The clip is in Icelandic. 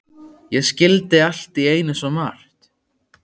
Ég skildi allt í einu svo margt.